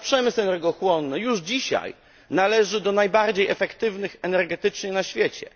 nasz przemysł energochłonny już dzisiaj należy do najbardziej efektywnych energetycznie na świecie.